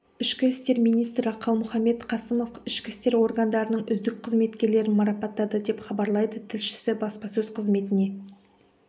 ішкі істер министрі қалмұханбет қасымов ішкі істер органдарының үздік қызметкерлерін марапаттады деп хабарлайды тілшісі баспасөз қызметіне